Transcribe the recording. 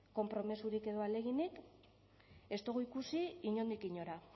konpromezurik edo ahaleginik ez dugu ikusi inondik inora